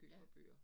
Ja